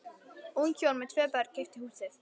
Ung hjón með tvö börn keyptu húsið.